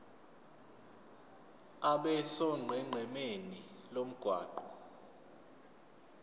abe sonqenqemeni lomgwaqo